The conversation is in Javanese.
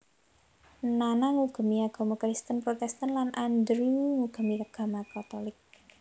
Nana ngugemi agama Kristen Protestan lan Andrew ngugemi agama katolik